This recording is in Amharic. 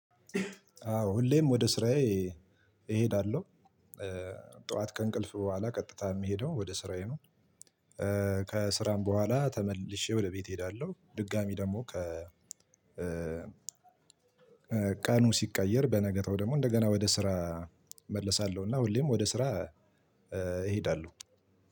አዎ ሁሌም ወደ ስራዬ እሄዳለሁ። ጠዋት ከእንቅልፍ በኋላ ቀጥታ የሚሄደው ወደ ስራዬ ነው። ከስራም በኋላ ተመልሼ ወደ ቤት እሄዳለሁ፣ ድጋሚ ደግሞ ከ ቀኑ ሲቀየር በነገታው ደግሞ እንደገና ወደ ስራ እመለሳለሁ እና ሁሌም ወደ ስራ እሄዳለሁ።